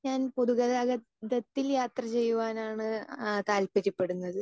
Speaker 2 ഞാൻ പൊതു ഗതാഗതത്തിൽ യാത്ര ചെയ്യുവാനാണ്താ ആ താൽപര്യപ്പെടുന്നത്.